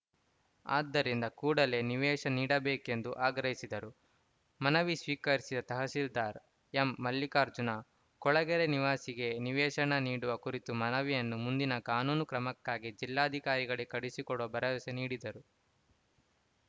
ಆದ್ದರಿಂದ ಕೂಡಲೇ ನಿವೇಶ ನೀಡಬೇಕೆಂದು ಆಗ್ರಹಿಸಿದರು ಮನವಿ ಸ್ವೀಕರಿಸಿದ ತಹಸೀಲ್ದಾರ್‌ ಎಂಮಲ್ಲಿಕಾರ್ಜುನ ಕೊಳಗೆರೆ ನಿವಾಸಿಗಳಿಗೆ ನಿವೇಶನ ನೀಡುವ ಕುರಿತು ಮನವಿಯನ್ನು ಮುಂದಿನ ಕಾನೂನು ಕ್ರಮಕ್ಕಾಗಿ ಜಿಲ್ಲಾಧಿಕಾರಿಗಳಿಗೆ ಕಳುಹಿಸಿಕೊಡುವ ಭರವಸೆ ನೀಡಿದರು